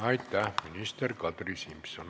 Aitäh, minister Kadri Simson!